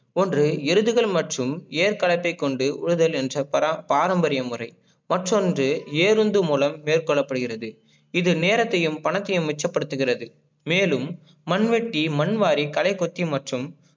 போன்று எருதுகள் மட்டும் ஏற்கலத்தை கொண்டு உழுதல் என்று பர~பாரம்பரியம் முறை மற்றொன்று ஏருந்து மூலம் மேற்கொள்ள படுகிறது இது நேரத்தையும் பணத்தையும் மிச்ச படுத்துகிறத மேலும் மண்வெட்டி, மண்வாரி, கலைகொத்தி மற்றும்